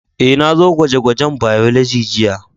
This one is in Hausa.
Eh, na zo gwaje-gwajen Biology jiya.